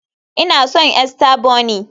Ina son Easter bunny